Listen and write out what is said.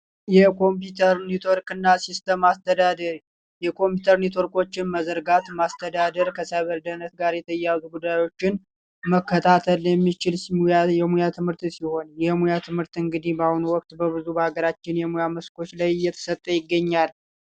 የኮምፒውተር ኔትወርክና ሲስተም አስተዳደር የኮምፒውተር ኔትወርቆችን መዘርጋት ማስተዳደር ጋር የተያያዙ ጉዳዮችን መከታተል የሚችል የሙያ ትምህርት ሲሆን የሙያ ትምህርት እንግዲ በአሁኑ ወቅት በአገራችን ላይ የተሰጠ ይገኛል።